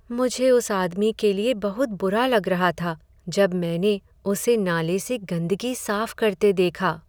मुझे उस आदमी के लिए बहुत बुरा लग रहा था जब मैंने उसे नाले से गंदगी साफ करते देखा।